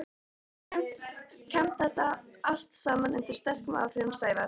kvæmt þetta allt saman undir sterkum áhrifum Sævars.